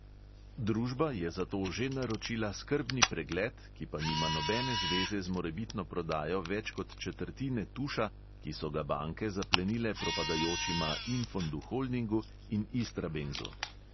Družba je zato že naročila skrbni pregled, ki pa nima nobene zveze z morebitno prodajo več kot četrtine tuša, ki so ga banke zaplenile propadajočima infondu holdingu in istrabenzu.